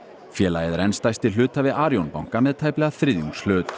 félagið er enn stærsti hluthafi Arion banka með tæplega þriðjungshlut